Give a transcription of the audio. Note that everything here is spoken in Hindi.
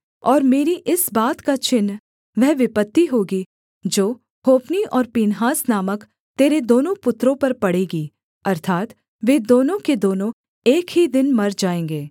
और मेरी इस बात का चिन्ह वह विपत्ति होगी जो होप्नी और पीनहास नामक तेरे दोनों पुत्रों पर पड़ेगी अर्थात् वे दोनों के दोनों एक ही दिन मर जाएँगे